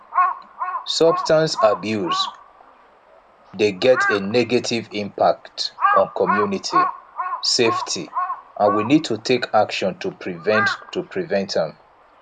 substance abuse dey get a negative impact on community safety and we need to take action to prevent to prevent am